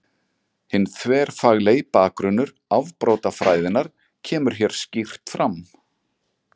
Hinn þverfaglegi bakgrunnur afbrotafræðinnar kemur hér skýrt fram.